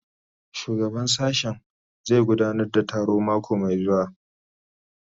Shugaban sashen zai gudanar da taro mako mai zuwa